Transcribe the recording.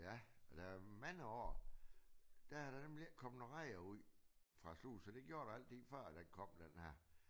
Ja og der er mange år der har der nemlig ikke kommet nogle rejer ud fra sluserne det gjorde der altid før den kom den her